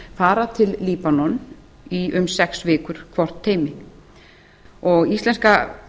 sjúkraflutningamanni fara til líbanon í um sex vikur hvort teymi íslenska